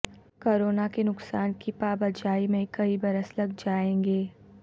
corona کے نقصان کی پابجائی میں کئی برس لگ جائیں گے